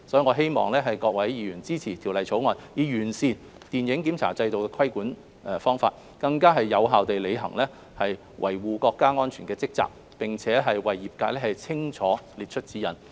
我希望各位議員支持《條例草案》，以完善電影檢查規管制度，更有效地履行維護國家安全的職責，並給予業界清晰指引。